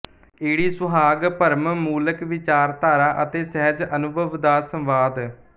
ੲ ਸੁਹਾਗ ਭਰਮ ਮੂਲਕ ਵਿਚਾਰਧਾਰਾ ਅਤੇ ਸਹਿਜ ਅਨੁਭਵ ਦਾ ਸੰਵਾਦ